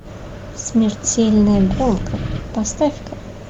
смертельная гонка поставь ка